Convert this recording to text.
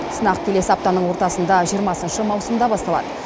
сынақ келесі аптаның ортасында жиырмасыншы маусымда басталады